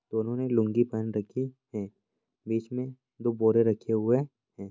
दोनों ने लुंगी पहन रखी है बीच मे दो बोरे रखे हुए है।